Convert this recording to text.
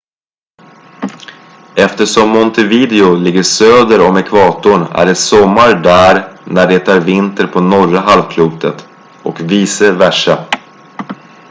eftersom montevideo ligger söder om ekvatorn är det sommar där när det är vinter på norra halvklotet och vice versa